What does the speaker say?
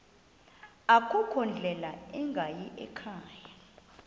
akukho ndlela ingayikhaya